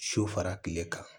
So fara kile kan